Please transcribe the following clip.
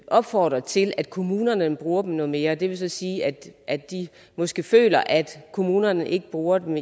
opfordre til at kommunerne bruger dem noget mere det vil så sige at at de måske føler at kommunerne ikke bruger dem